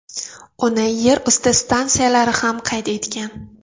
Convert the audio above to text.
Uni yerusti stansiyalari ham qayd etgan.